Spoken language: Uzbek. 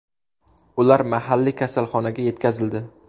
Ular mahalliy kasalxonaga yetkazildi.